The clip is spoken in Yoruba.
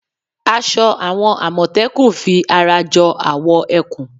Aṣọ àwọn àmọ̀tẹ́kùn fi ara jọ awọ ẹkùn